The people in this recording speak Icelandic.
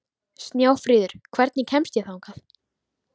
Snjáfríður, hvernig kemst ég þangað?